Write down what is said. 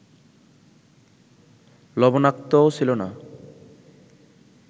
লবণাক্তও ছিল না